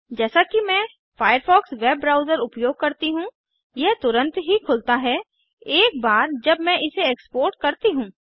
जैसा कि मैं फायरफॉक्स वेब ब्राउज़र उपयोग करती हूँ यह तुरंत ही खुलता है एक बार जब मैं इसे एक्सपोर्ट करती हूँ